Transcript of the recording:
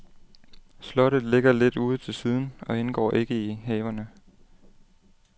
Slottet ligger lidt ude til siden og indgår ikke i haverne.